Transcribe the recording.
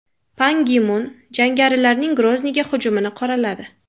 Pan Gi Mun jangarilarning Grozniyga hujumini qoraladi.